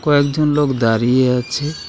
কয়েকজন লোক দাঁড়িয়ে আছে .